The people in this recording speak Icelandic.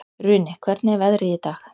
Runi, hvernig er veðrið í dag?